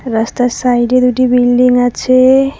রাস্তার সাইডে দুটি বিল্ডিং আছে।